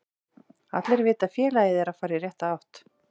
Allir vita að félagið er að fara í rétta átt.